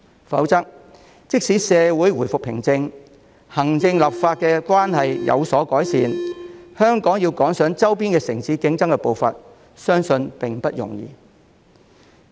否則的話，即使社會回復平靜，行政立法關係有所改善，香港要趕上周邊城市競爭的步伐，相信並不容易。